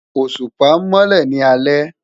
Oṣupa nmọlẹ ni alẹ